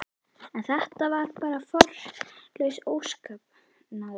En þetta var bara formlaus óskapnaður.